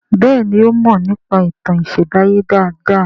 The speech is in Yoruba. Béèni o mo nípa ìtàn isembaye dá dá.